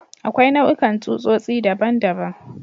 Akwai nau'ikan tsutsotsi daban-daban.